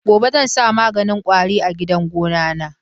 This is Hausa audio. Gobe zan sa maganin kwari a gidan gonana.